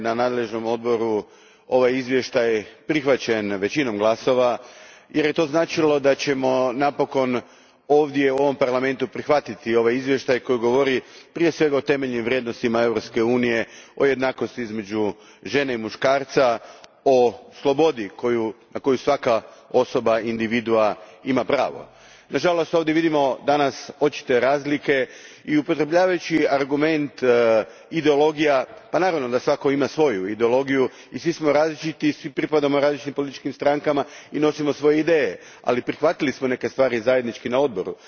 Gospođo predsjednice, radovao sam se kad sam dobio informaciju da je u nadležnom odboru ovaj izvještaj prihvaćen većinom glasova jer je to značilo da ćemo napokon ovdje, u ovom Parlamentu, prihvatiti ovaj izvještaj koji govori prije svega o temeljnim vrijednostima Europske unije, o jednakosti između žene i muškarca, o slobodi na koju svaka osoba, individua, ima pravo. Na žalost ovdje vidimo danas očite razlike i upotrebljavajući argument ideologija, pa naravno da svako ima svoju ideologiju i svi smo različiti i svi pripadamo različitim političkim strankama i nosimo svoje ideje, ali prihvatili smo neke stvari zajednički na odboru.